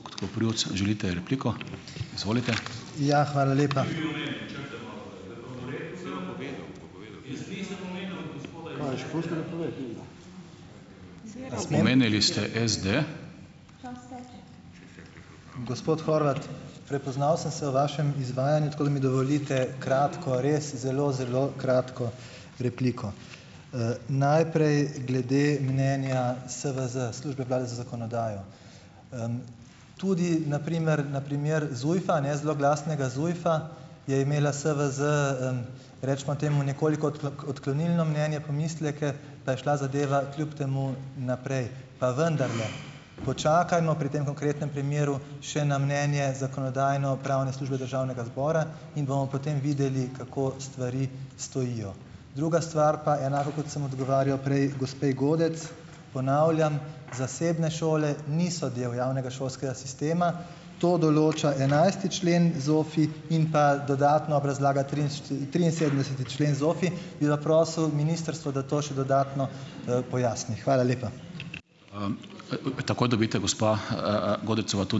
Ja, hvala lepa. Gospod Horvat, prepoznal sem se v vašem izvajanju, tako da mi dovolite kratko, res zelo, zelo kratko repliko. Najprej glede mnenja SVZ, službe vlade za zakonodajo. Tudi na primer, na primer Zujfa, ne, zloglasnega Zujfa je imela SVZ, recimo temu nekoliko odklonilno mnenje, pomisleke, pa je šla zadeva kljub temu naprej. Pa vendarle počakajmo pri tem konkretnem primeru še na mnenje zakonodajno-pravne službe državnega zbora in bomo potem videli, kako stvari stojijo. Druga stvar pa enako, kot sem odgovarjal prej gospe Godec. Ponavljam: Zasebne šole niso del javnega šolskega sistema, to določa enajsti člen ZOFVI in pa dodatna obrazlaga triinsedemdeseti člen ZOFVI, bi pa prosil ministrstvo, da to še dodatno, pojasni. Hvala lepa.